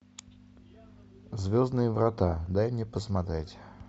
звездные врата дай мне посмотреть